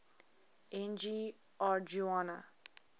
n g rjuna